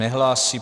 Nehlásí.